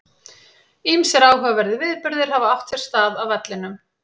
Ýmsir áhugaverðir viðburðir hafa átt sér stað á vellinum.